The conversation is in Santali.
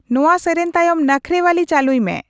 ᱱᱚᱶᱟ ᱥᱮᱨᱮᱧ ᱛᱟᱭᱚᱢ ᱱᱟᱠᱷᱨᱮᱣᱟᱞᱤ ᱪᱟᱹᱞᱩᱭ ᱢᱮ